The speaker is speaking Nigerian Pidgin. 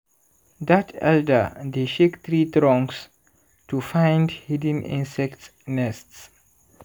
dat elder dey shake tree trunks to find hidden insect nests.